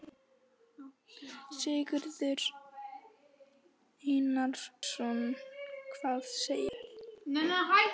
Sigurður Einarsson: Hvað segirðu?